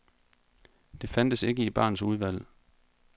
Det fandtes ikke i barens udvalg.